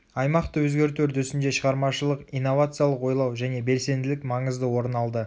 аймақты өзгерту үрдісінде шығармашылық инновациялық ойлау және белсенділік маңызды орын алды